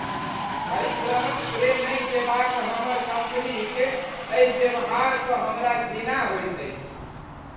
परिश्रमक श्रेय नहि देबाक हमर कम्पनीक एहि व्यवहारसँ हमरा घृणा होइत अछि।